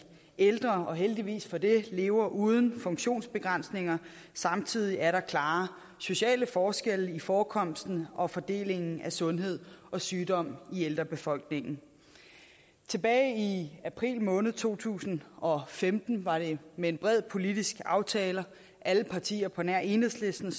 ældre og heldigvis for det lever uden funktionsbegrænsninger samtidig er der klare sociale forskelle i forekomsten og fordelingen af sundhed og sygdom i ældrebefolkningen tilbage i april måned to tusind og femten var det med en bred politisk aftale at alle partier på nær enhedslisten